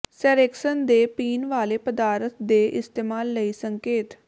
ਸੇਰੈਕਸਨ ਦੇ ਪੀਣ ਵਾਲੇ ਪਦਾਰਥ ਦੇ ਇਸਤੇਮਾਲ ਲਈ ਸੰਕੇਤ